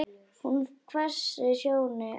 Hún hvessir sjónir á hann.